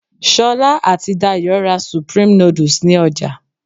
Sola àti Dayò ra supreme noodles ní ọjà